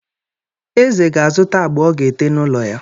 Eze ga-azụta agba ọ ga-ete n'ụlọ ya.